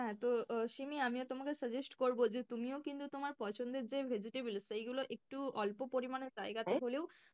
হ্যাঁ তো শিমি আমিও তোমাকে suggest করব যে তুমিও কিন্তু তোমার যে পছন্দের যে vegetable সেগুলো একটু অল্প পরিমাণ হলেও,